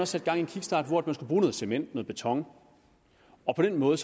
sat gang i en kickstart hvor der skulle bruges noget cement noget beton og på den måde